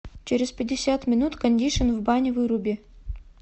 через пятьдесят минут кондишн в бане выруби